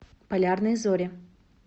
полярные зори